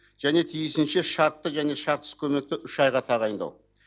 және тиісінше шартты және шартсыз көмекті үш айға тағайындау